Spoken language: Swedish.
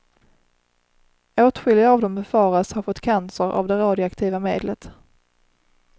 Åtskilliga av dem befaras ha fått cancer av det radioaktiva medlet.